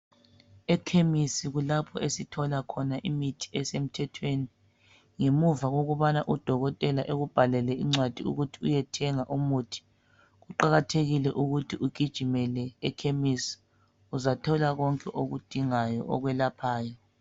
Ekhemisi kulapho esithola khona imithi esemthwethweni ngemuva kokubana udokotela ekubhalele incwadi ukuthi uyethenga umuthi. Kuqakathekile ukuthi ugijimele ekhemisi uzathola konke oyidingayo okwelaphayo.